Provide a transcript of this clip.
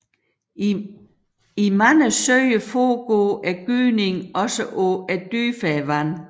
I mange søer foregår gydningen også på dybere vand